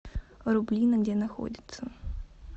рублино где находится